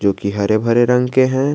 जो कि हरे भरे रंग के हैं।